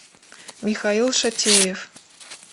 михаил шатеев